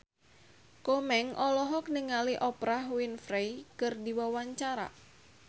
Komeng olohok ningali Oprah Winfrey keur diwawancara